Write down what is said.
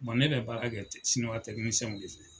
ne bɛ baara kɛ siniwa tɛkininisiɛnw de fɛ.